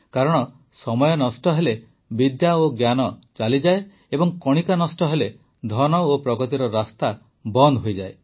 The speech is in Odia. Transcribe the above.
କାରଣ ସମୟ ନଷ୍ଟ ହେଲେ ବିଦ୍ୟା ଓ ଜ୍ଞାନ ଚାଲିଯାଏ ଏବଂ କଣିକା ନଷ୍ଟ ହେଲେ ଧନ ଓ ପ୍ରଗତିର ରାସ୍ତା ବନ୍ଦ ହୋଇଯାଏ